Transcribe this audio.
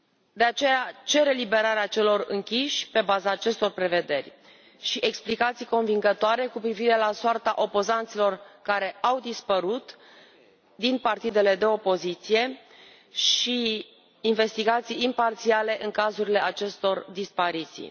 De aceea cer eliberarea celor închiși pe baza acestor prevederi și explicații convingătoare cu privire la soarta opozanților care au dispărut din partidele de opoziție și investigații imparțiale în cazurile acestor dispariții.